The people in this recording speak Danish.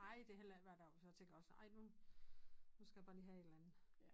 Ej det er heller ikke hver dag så jeg tænker også ej nu nu skal jeg bare lige have et eller andet